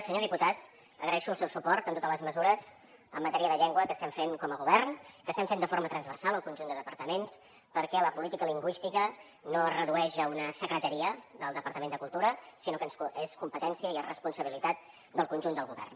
senyor diputat agraeixo el seu suport en totes les mesures en matèria de llengua que estem fent com a govern que estem fent de forma transversal al conjunt de departaments perquè la política lingüística no es redueix a una secretaria del departament de cultura sinó que és competència i és responsabilitat del conjunt del govern